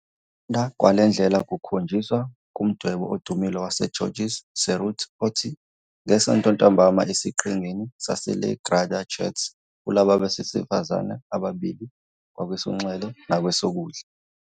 Ukuthandwa kwale ndlela kukhonjiswa kumdwebo odumile waseGeorges Seurat othi NgeSonto Ntambama esiQhingini saseLa Grande Jatte kulaba besifazane ababili ngakwesokunxele nakwesokudla.